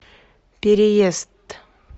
переезд